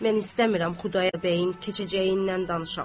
Mən istəmirəm Xudayar bəyin keçəcəyindən danışam.